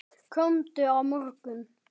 Komdu á morgun.